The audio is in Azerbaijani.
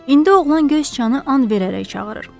İndi oğlan göy siçanı and verərək çağırır.